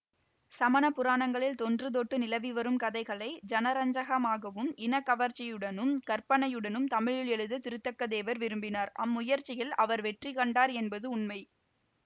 சமண புராணங்களில் தொன்று தொட்டு நிலவிவரும் கதைகளை ஜனரஞ்சகமாகவும் இனக்கவர்ச்சியுடனும் கற்பனையுடனும் தமிழில் எழுத திருத்தக்க தேவர் விரும்பினார் அம்முயற்சியில் அவர் வெற்றிகண்டார் என்பது உண்மை